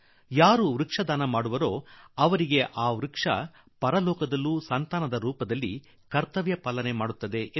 ಯಾರು ವೃಕ್ಷದಾನ ಮಾಡುತ್ತಾರೋ ಅವರಿಗೆ ವೃಕ್ಷ ಸ್ವಂತ ಮಕ್ಕಳ ರೀತಿಯಲ್ಲಿ ಪರಲೋಕದಲ್ಲೂ ಮುಕ್ತಿ ದೊರಕಿಸುತ್ತದೆ